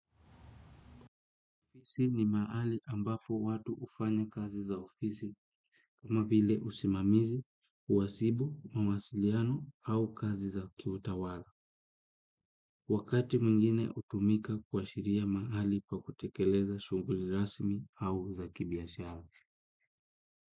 Ofisi ni maali ambapo watu ufanya kazi za ofisi kama vile usimamizi, uwasibu, mawasiliano au kazi za kiutawala. Wakati mungine utumika kwa shiria maali pa kutekeleza shunguli rasimi au za kibiashara.